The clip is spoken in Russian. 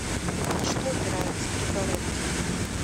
на что опираются перегородки